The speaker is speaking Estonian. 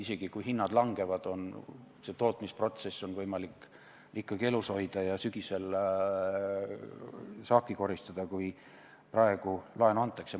Isegi kui hinnad langevad, on seda tootmist võimalik ikkagi elus hoida ja sügisel saaki koristada, kui praegu laenu antakse.